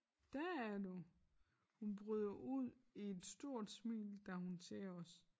Dér er du! Hun bryder ud i et stort smil da hun ser os